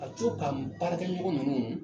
Ka co ka n baarakɛ ɲɔgɔn ninnu